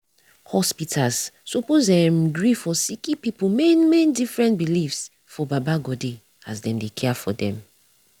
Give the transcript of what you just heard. hospitas suppos erm gree for sicki pipu main main different beliefs for baba godey as dem dey care for dem